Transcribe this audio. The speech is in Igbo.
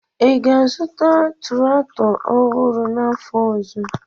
ị ga-azụta traktọ ọhụrụ n'afọ ọzọ?